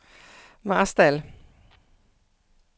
Marstal